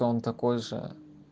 то он такой же